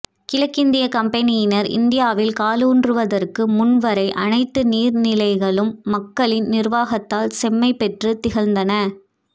கிழக்கிந்திய கம்பெனியினர் இந்தியாவில் காலூன்றுவதற்கு முன் வரை அனைத்து நீர்நிலைகளும் மக்களின் நிர்வாகத்தால் செம்மை பெற்று திகழ்ந்தன